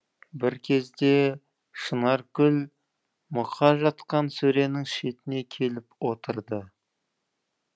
бір кезде шынаркүл мұқа жатқан сөренің шетіне келіп отырды